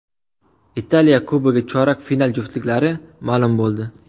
Italiya Kubogi chorak final juftliklari ma’lum bo‘ldi.